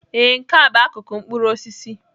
Ee, Nke a bụ akụkụ mkpụrụ osisi.